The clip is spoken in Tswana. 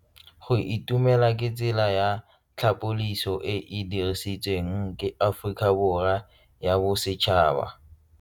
Go itumela ke tsela ya tlhapolisô e e dirisitsweng ke Aforika Borwa ya Bosetšhaba.